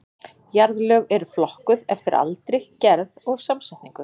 Jarðlög eru flokkuð eftir aldri, gerð og samsetningu.